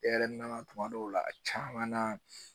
E yɛrɛ nana tuma dɔw la a caman na